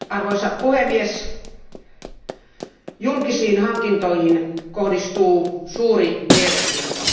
Arvoisa puhemies, julkisiin hankintoihin kohdistuu suuri mielenkiinto.